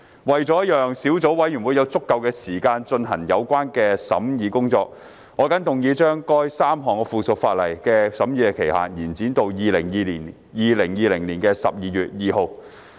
為了讓小組委員會有足夠時間進行有關的審議工作，我謹動議將該3項附屬法例的審議期限延展至2020年12月2日。